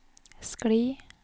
skli